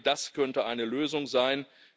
Ich denke, das könnte eine Lösung sein.